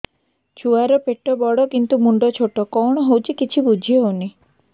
ଛୁଆର ପେଟବଡ଼ କିନ୍ତୁ ମୁଣ୍ଡ ଛୋଟ କଣ ହଉଚି କିଛି ଵୁଝିହୋଉନି